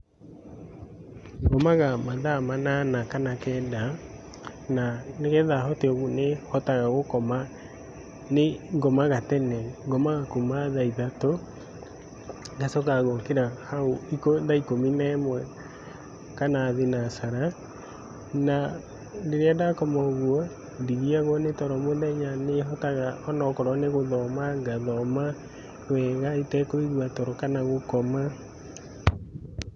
Ngomaga mathaa manana kana kenda, na nĩgetha hote ũguo nĩhotaga gũkoma, nĩngomaga tene . Ngomaga kuuma tha ithaũ ngacoka ngokĩra hau thaa ikũmi na ĩmwe kana thinacara na rĩrĩa ndakomaga ũguo. Ndigiagwo nĩtoro mũthenya, nĩhotaga onokorwo nĩgũthoma. Ngathoma wega itakũigua toro kana gũkoma .